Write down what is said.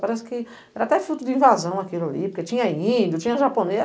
Parece que era até fruto de invasão aquilo ali, porque tinha índio, tinha japonês.